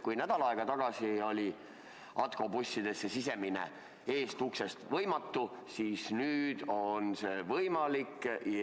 Kui nädal tagasi oli Atko bussidesse sisenemine esiuksest võimatu, siis nüüd on see võimalik.